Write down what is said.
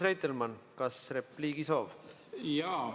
Urmas Reitelmann, kas on repliigi soov?